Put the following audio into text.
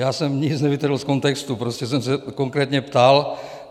Já jsem nic nevytrhl z kontextu, prostě jsem se konkrétně ptal.